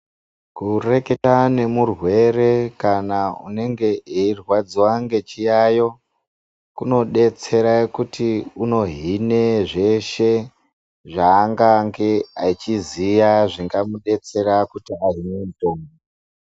Kureketa nemurwere kana unenge eirwadziwa ngechiyayo kunodetsere kuti unohine zveshe zvaangange achiziya zvingamudetsera kuti ahinwe mutombo.